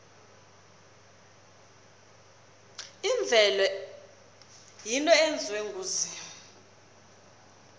imvelo yinto eyenziwe nguzimu